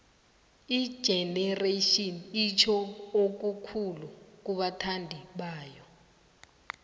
igeneration itjho okukhulu kubathandi bayo